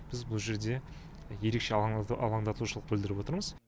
біз бұл жерде ерекше алаңдатушылық білдіріп отырмыз